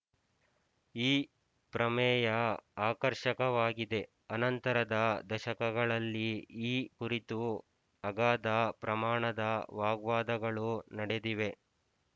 ಈ ಪ್ರಮೇಯ ಆಕರ್ಶಕವಾಗಿದೆ ಅನಂತರದ ದಶಕಗಳಲ್ಲಿ ಈ ಕುರಿತು ಅಗಾಧ ಪ್ರಮಾಣದ ವಾಗ್ವಾದಗಳು ನಡೆದಿವೆ